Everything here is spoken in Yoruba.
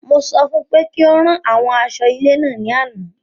Mo sọ fún pé kí ó rán àwọn aṣọ ilé náà ní àna